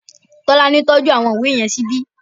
Tọ́lání tọ́jú àwọn ìwé yẹn síbi